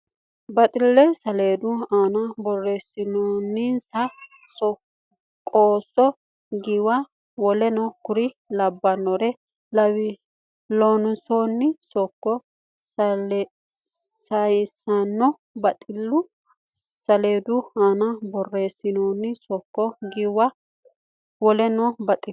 Baxille saleedu aana borreessinsa qusso giwanna woleno kuri labbanno Loossinanni sokka saysanno Baxille saleedu aana borreessinsa qusso giwanna woleno Baxille.